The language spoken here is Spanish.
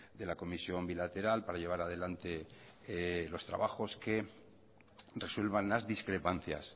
de la comisión bilateral para llevar adelante los trabajos que resuelvan las discrepancias